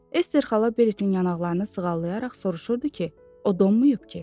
Ester xala Beritin yanaqlarını sığallayaraq soruşurdu ki, o donmayıb ki?